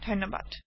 যোগ দিয়াৰ বাবে ধণ্যবাদ